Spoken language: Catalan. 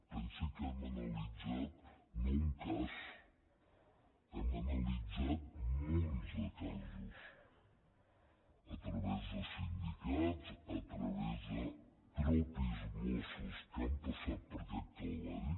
pensi que hem analitzat no un cas hem analitzat munts de casos a través de sindicats a través de mossos mateixos que han passat per aquest calvari